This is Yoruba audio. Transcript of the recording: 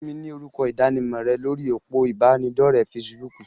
Fún mi ni orúkọ ìdánimọ̀ rẹ lórí òpó ìbánidọ́rẹ̀ fesibúùkù.!